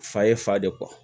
Fa ye fa de kɔ